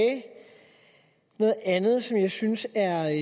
noget andet som jeg synes er